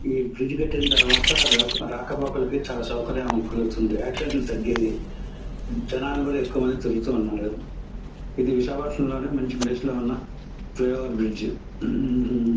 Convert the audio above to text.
ఈ బ్రిడ్జ్ కట్టిన తర్వాత రక్ రాకపోకలు చాలా సౌకర్యం కలుగుతుంది. తగ్గాయి. జనాలు ఎక్కువ మంది తిరుగుతున్నారు. ఇది విశాఖపట్టణం లోని మంచి ప్లేస్ లో ఉన్న ఫ్లయ్హోవర్ బ్రిడ్జ్ .